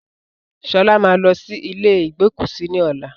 Sọlá máa lọ sí ilé igbókúsí ni ọ̀la